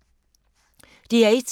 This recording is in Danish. DR1